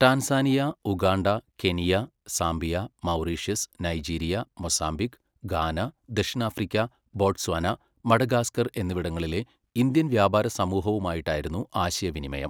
Tanzania, Uganda, Kenya, Zambia, Mauritius, Nigeria, Mozambique, Ghana, ദക്ഷിണാഫ്രിക്ക, Botswana, Madagascar എന്നിവിടങ്ങളിലെ Indian വ്യാപാര സമൂഹവുമായിട്ടായിരുന്നു ആശയവിനിമയം.